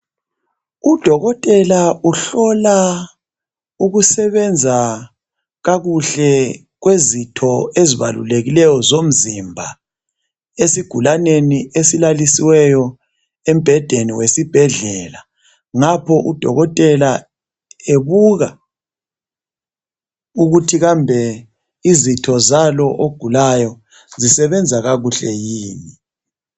Udokotela uhlola ukusebenza kakuhle kwezitho ezibalulekileyo zomzimba esigulaneni esilalisiweyo embhedeni wesibhedlela, ngapho udokotela ebuka ukuthi kambe izitho zalo ogulayo zisebenza kakuhle yini.